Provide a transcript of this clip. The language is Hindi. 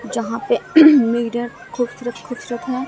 यहां पे मिरर खूबसूरत खूबसूरत हैं।